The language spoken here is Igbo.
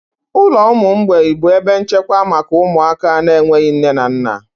Ụlọ ụmụ mgbei bụ ebe nchekwa maka ụmụaka na-enweghị nne na nna.